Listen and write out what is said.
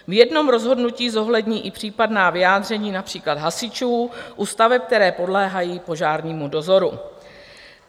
V jednom rozhodnutí zohlední i případná vyjádření, například hasičů u staveb, které podléhají požárnímu dozoru.